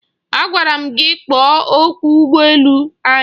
Agwara m gị kpọọ ọkwọ ụgbọ elu anyị!